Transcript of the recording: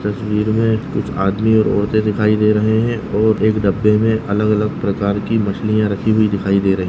तस्वीर मे कुछ आदमी और औरते दिखाई दे रहे है और एक डब्बे मे अलग-अलग प्रकार की मछलिया रखी हुई दिखाई दे रही--